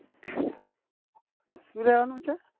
શું રેવા નું છે?